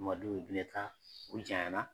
Mamadu Bineta u janyana